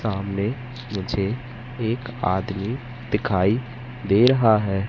सामने मुझे एक आदमी दिखाई दे रहा है।